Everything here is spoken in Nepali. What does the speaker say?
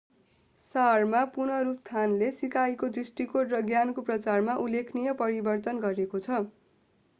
सारमा पुनरुत्थानले सिकाइको दृष्टिकोण र ज्ञानको प्रचारमा उल्लेखनीय परिवर्तन गरेको छ